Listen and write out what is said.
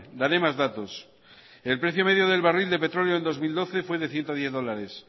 daré más datos el precio medio del barril de petróleo en dos mil doce fue de ciento diez dólares